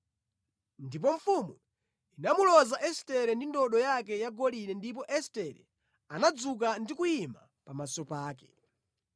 Ndipo mfumu inamuloza Estere ndi ndodo yake yagolide ndipo Estere anadzuka ndi kuyima pamaso pake.